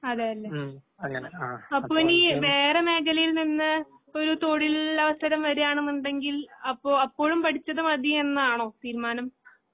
അതേയല്ലെ. അപ്പോ ഇനി വേറെമേഖലയിൽനിന്ന് ഒരു തെഴിൽലവസരം വരുകാണെന്നുണ്ടെങ്കിൽ അപ്പൊ അപ്പോഴുംപിടിച്ചത് മതയെന്നാണോ തീരുമാനം?